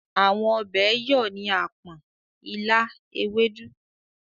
Àwọn ọbẹ̀ yọ̀ ni àpọ̀n, ilá, ewédú.